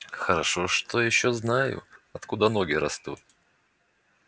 хорошо ещё что знаю откуда ноги растут